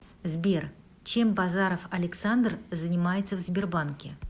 сбер чем базаров александр занимается в сбербанке